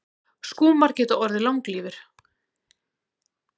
Skúmar geta orðið langlífir.